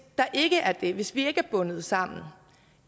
der ikke er det altså hvis vi ikke er bundet sammen